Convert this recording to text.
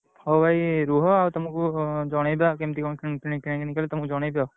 ହଉ ଭାଇ ରୁହ ଆଉ ତମକୁ ଜଣେଇଦବା କିମିତି କଣ କିଣାକିଣି ତମୁକୁ ଜଣେଇଦବା।